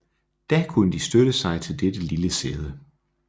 Da kunne de støtte sig til dette lille sæde